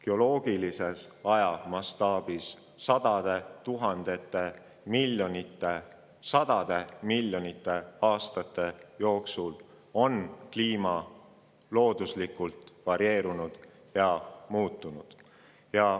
Geoloogilises ajamastaabis on kliima sadade tuhandete, miljonite ja sadade miljonite aastate jooksul looduslikult varieerunud ja muutunud.